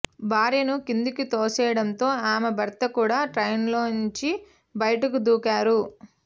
భార్యను కిందకు తోసేయడంతో ఆమె భర్త కూడా ట్రైన్లో నుంచి బయటకు దూకారు